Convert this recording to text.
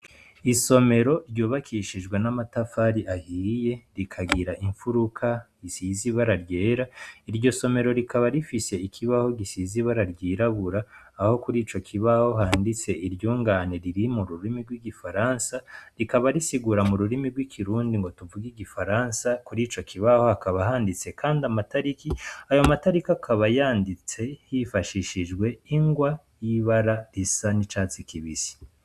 Isomero ryubakishijwe n'amatafari ahiye rikagira imfuruka risize ibara ryera, iryo somero rikaba rifise ikibaho gisize ibara ryirabura aho kuri ico kibaho handitse iryungane riri mu rurimi rw'igifaransa rikaba risigura mu rurimi rw'ikirundi ngo tuvuge igifaransa, kuri ico kibaho hakaba handitse kandi amatariki, ayo matariki akaba yanditse hifashishijwe ingwa y'ibara risa n'icatsi kibisi.